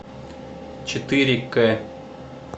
четыре к